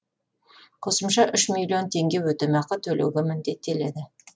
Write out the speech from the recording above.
қосымша үш миллион теңге өтемақы төлеуге міндеттеледі